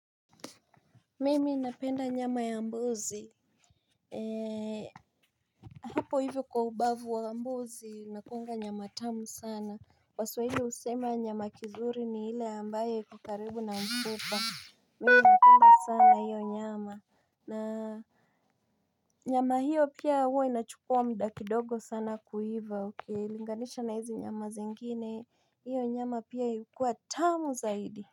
Mimi napenda nyama ya mbuzi Eee, hapo hivyo kwa ubavu wa mbuzi, nakuanga nyama tamu sana waswahili usema nyama kizuri ni hile ambaye iko karibu na mfupa Mimi inapenda sana hiyo nyama na nyama hiyo pia huwa inachukua mda kidogo sana kuiva, okei, linganisha na hizi nyama zengine, hiyo nyama pia ikuwa tamu zaidi.